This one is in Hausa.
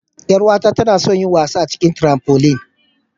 Yar'uwata tana son yin wasa a cikin "trampoline".